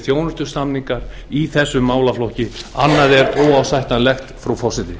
þjónustusamningar í þessum málaflokk annað er óásættanlegt virðulegi forseti